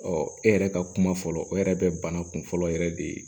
e yɛrɛ ka kuma fɔlɔ o yɛrɛ bɛ bana kun fɔlɔ yɛrɛ de